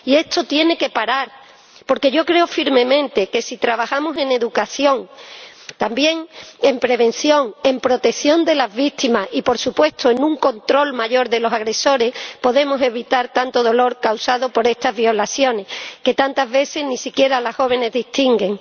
Y esto tiene que parar, porque yo creo firmemente que, si trabajamos en educación, también en prevención, en protección de las víctimas y, por supuesto, en un control mayor de los agresores, podemos evitar tanto dolor causado por estas violaciones, que tantas veces ni siquiera las jóvenes distinguen.